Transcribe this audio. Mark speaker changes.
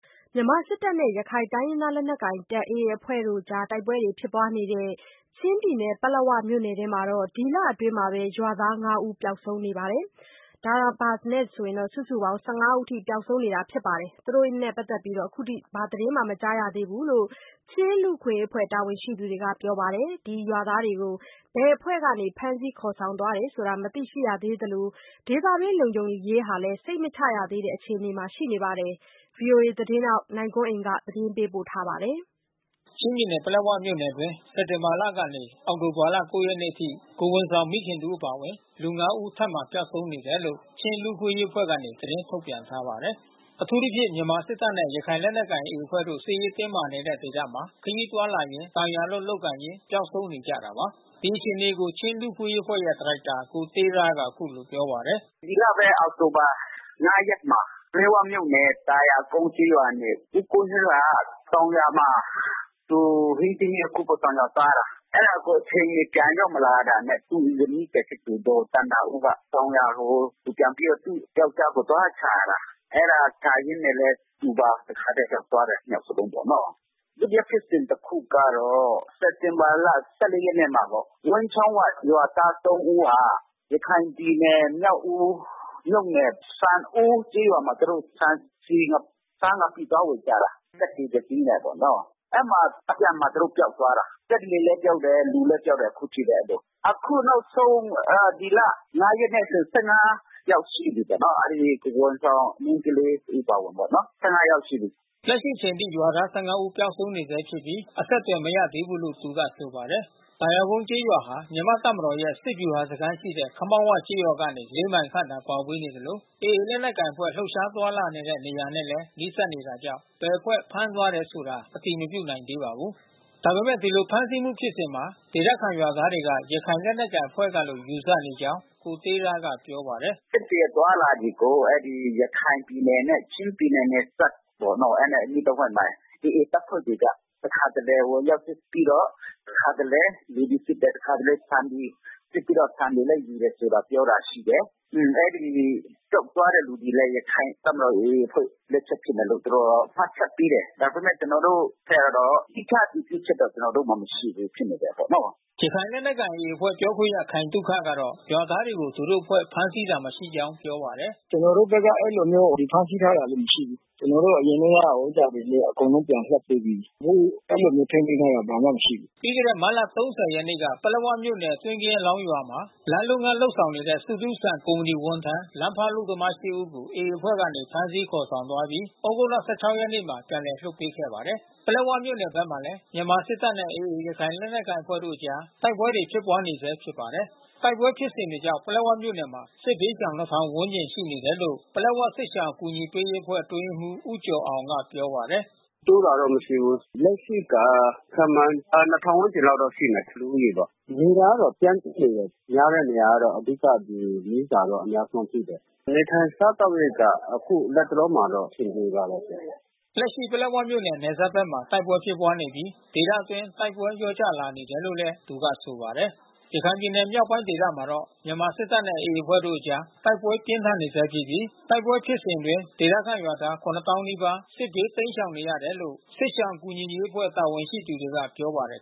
Speaker 1: မြန်မာစစ်တပ်နဲ့ ရခိုင်လက်နက်ကိုင်AAအဖွဲ့တို့တိုက်ပွဲဖြစ်ပွားနေတဲ့ ချင်းပြည်နယ်ပလက်ဝမြို့နယ်အတွင်း ဒီတလ အတွင်းရွာသား(၅)ဦးပျောက်ဆုံးနေသလို စုစုပေါင်း(၁၅)ဦးအထိ ပျောက်ဆုံးနေတာ အခုထိ သတင်းမကြားရ သေး ဘုူလို့ ချင်းလူ့အခွင့်အရေးအဖွဲ့တာဝန်ရှိသူတွေကပြောပါတယ်။ ဒီရွာသားတွေကို ဘယ်အဖွဲ့ကနေ ဖမ်းဆီးခေါ်ဆောင် သွားတယ်ဆိုတာ မသိရှိရသေးသလို ဒေသအတွင်းလုံခြုံရေးဟာလဲ စိတ်မချရသေးတဲ့အခြေအနေမှာရှိနေပါတယ်။ ဗွီအိုအေမြန်မာပိုင်းသတင်းထောက်နိုင်ကွန်းအိန်ကနေသတင်းပေးပို့ထားပါတယ်။
Speaker 2: ချင်းပြည်နယ်ပလက်ဝမြို့နယ်အတွင်း စက်တင်ဘာလလယ်ကနေ အောက်တိုဘာလ(၉)ရက်နေ့ အထိ ကိုယ်ဝန် ဆောင်မိခင်တစ်ဦးအပါအဝင် လူ(၅)ဦးထပ်မံ ပျောက်ဆုံးနေတယ်လို့ ချင်းလူ့အခွင့်အရေးအဖွဲ့ကနေ သတင်း ထုတ်ပြန်ထားပါတယ်။ အထူးသဖြင့် မြန်မာစစ်တပ်နဲ့ရခိုင်လက်နက်ကိုင်AAအဖွဲ့တို့စစ်ရေးတင်းမာနေတဲ့ဒေသမှာ ခရီးသွားလာရင်း တောင်ယာအလုပ်လုပ်ကိုင်ရင်းပျောက်ဆုံးနေကြတာပါ။ ဒီအခြေအနေကိုချင်းလူ့အခွင့်အရေးအဖွဲ့ရဲ့ဒါရိုက်တာကိုတေးရားကအခုလိုပြောပါတယ်။
Speaker 3: “ဒီလဘဲအောက်တိုဘာ(
Speaker 2: ၅)ရက်မှာ ပလက်ဝ
Speaker 3: မြို့နယ်သာယာကုန်းကျေးရွာနေ ဦးကူးဟွေးက တောင်ယာမှာ သူဟင်းသီး ဟင်းရွက်ခူးဖို့တောင်ယာသွားတာ။ အဲတာကိုအချိန်မီပြန်ရောက်မလာတာနဲ့ သူ့ဇနီးဖြစ်သူ ဒေါ်သန္တာဦးက တောင်ယာ ကို သူုပြန်ပြီးတော့ သူယောကျ်ားကိုသွားရှာတာ။ အဲတာရှာရင်းနဲ့ဘဲ သူပါတခါထဲ ပျောက်သွားတာ နှစ်ယောက်စလုံးပေါ့ နော်။ ဒုတိယဖြစ်စဉ် တခုကတော့ စက်တင်ဘာလ(၁၄)ရက်နေ့မှာပေါ့။ ဝန်းချောင်းဝရွာသား(၃)ဦးဟာ ရခိုင်ပြည်နယ် မြောက်ဦးမြို့နယ် ဆန်အိုးကျေးရွာမှာသူတို့ ဆန် ဆီ ဆား ငပိသွားဝယ်ကြတာ။ စက်လှေတစီး နဲ့ပေါ့နော။ အဲဒီမှာ အပြန်မှာသူတို့ပျောက်သွားတာ။ စက်လှေလဲပျောက်တယ် လူလဲပျောက်တယ် အခုဖြစ်တယ်အဲဒီလို။ အခုနောက်ဆုံး ဒီလ(၅)ရက်နဲ့ဆို (၁၅)ယောက်ရှိပြီးပေါ့နော။ အဲဒီကိုယ်ဝန်ဆောင် မိန်းကလေးတဦးအပါအဝင်ပေါ့နော။” လက်ရ
Speaker 2: ှိအချိန်ထိရွာသား(၁၅)ဦးပျောက်ဆုံးနေဆဲဖြစ်ပြီး အဆက်သွယ် မရသေးဘူးလို့သူကဆိုပါတယ်။ သာယာကုန်းကျေးရွာဟာ မြန်မာတပ်မတော်ရဲ့ စစ်ဗျူဟာစခန်းရှိတဲ့ ခမောက်ဝကျေးရွာမှ (၄)မိုင်ခန့်သာ ကွာဝေးသလို AA လက်နက်ကိုင်အဖွဲ့ လူပ်ရှားသွားလာနေတဲ့ နေရာတွေနဲ့လဲနီးစပ်နေတာကြောင့် ဘယ်အဖွဲ့ဖမ်းသွားတယ်ဆိုတာ အတည်မပြုနိုင်သေးပါဘူး။ ဒါပေမဲ့ ဒီလိုဖမ်းဆီးမှုဖြစ်စဉ်မှာ ဒေသခံရွာသားတွေက ရခိုင် လက်နက်ကိုင်အဖွဲ့ ကလို့ယူဆနေကြောင်း ကိုတေးရာ ကပြောပါတယ်။
Speaker 3: “စက်လှေအသွားလာတွေကို ရခိုင်ပြည်နယ်နဲ့ချင်းပြည်နယ် နယ်စပ်ပါ့နော် အဲတာနဲ့အနီးတဝိုက်မှာ AA တပ်ဖွဲ့တွေက တခါတလေဝင်ရောက် စစ်ပြီးတော့ တခါတလေ လူတွေစစ်တယ် တခါတလေဆန်တွေ စစ်ပြီးတော့ ဆန်တွေလဲယူတယ် ဆိုတာပြောတာရှိတယ်။ အဲဒီပျောက်သွားတဲ့လူတွေလဲ ရခိုင်တပ်မတော် AAအဖွဲ့လက်ချက်ဖြစ်မယ်လို့ တော်တော်မှတ် ချက်ပေးတယ်။ ဒါပေမဲ့ကျွန်တော်တို့အဖွဲ့ကတော့ သီးခြားအတည်ပြုချက်တော့ကျွန်တော်တို့မှာ မရှိဘူးဖြစ်နေတယ် ပေ
Speaker 2: ါ့နော။” ရခိုင်လက်နက်ကိုင် AAအဖွဲ့ပြောခွင့်ရခိုင်သုခကတော့ ရွာသားတွေကို သူတို့အဖွဲ့ ဖမ်းဆီးတာ မရှိကြောင်းပြောပါတယ်။
Speaker 3: “ကျွန်တော်တို့ဖက်ကအဲဒီလိုမျိုး ဖမ်းဆီးထားတာမရှိဘူး။ ကျွန်တော်တို့အရင်တုန်းကဟိုဥစ္စာတွေလဲ အကုန်လုံးပြန် လွှတ်ပေးပြီးပြီး။ အခုအဲဒီလိုမျိုးထိန်းသိမ်းထားတာ ဘာမှမရှိဘူး
Speaker 2: ။” ပြီးခဲ့တဲ့မတ်လ(၃၀)ရက်မှာ ပလက်ဝမြို့နယ် တွင်းကင်းအလောင်းရွာမှာ လမ်းလုပ်ငန်း ဆောင်ရွက်နေတဲ့ ဆုထူးစံ ကုမ္ပဏီဝန်ထမ်းလမ်းဖေါက်အလုပ်သမား(၈)ဦးကို AAအဖွဲ့ကနေ ဖမ်းဆီးခေါ်ဆောင်သွားခဲ့ပြီး သြဂုတ်လ ၁၆ ရက် နေ့မှာ ပြန်လည်လွှတ်ပေးခဲ့ပါတယ်။ ပလက်ဝမြို့နယ်ဖက်မှာလဲ မြန်မာစစ်တပ်နဲ့AAရခိုင်လက်နက်ကိုင်အဖွဲ့တို့အကြား တိုက်ပွဲတွေဖြစ်ပွားနေဆဲဖြစ်ပါ တယ်။ တိုက်ပွဲဖြစ်စဉ်တွေကြောင့် ပလက်ဝမြို့နယ်မှာစစ်ဘေးရှောင်(၂၀၀၀)ဝန်းကျင်ရှိနေတယ်လို့ ပလက်ဝစစ်ရှောင်အကူ ညီ ပေးရေး အဖွဲ့အတွင်းရေးမှူးဦးကျော်အောင်ကပြောပါတယ်။
Speaker 3: “တိုးတာတော့မရှိဘူး။ လက်ရှိက ခန့်မှန်း(၂၀၀၀)ဝန်းကျင်လောက်တော့ရှိမယ်။ လူဦးရေပေါ့။ နေတာကတော့ ပြန့်ကြဲနေတယ်။ များတဲ့နေရာကတော့ အဓိကကတော့မီးစာပေါ့အများဆုံးရှိတယ်။ နေထိုင်စားသောက်ရေးက အခုလတ်တလောမှာတော့အဆင်ပြေပါတယ်။”
Speaker 2: လက်ရှိပလက်ဝမြို့နယ် နယ်စပ်ဘက်မှာတိုက်ပွဲဖြစ်ပွားနေပြီး ဒေသအတွင်း တိုက်ပွဲလျော့ကျလာနေတယ်လို့ သူက ဆိုပါတယ်။ ရခိုင်ပြည်နယ်မြောက်ပိုင်းဒေသမှာတော့ မြန်မာစစ်တပ်နဲ့AAအဖွဲ့တို့အကြား တိုက်ပွဲပြင်းထန်နေဆဲဖြစ်ပြီး တိုက်ပွဲ ဖြစ်စဉ်အတွင်းဒေသခံရွာသား(၇၀၀၀၀)နီးပါး စစ်ဘေးတိမ်းရှောင်နေရတယ်လို့ စစ်ရှောင်ကူညီရေးအဖွဲ့ တာဝန်ရှိ သူတွေကပြောပါတယ်